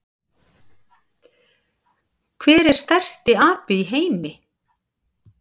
Hver er stærsti api í heimi?